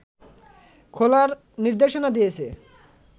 খোলার নির্দেশনা দিয়েছে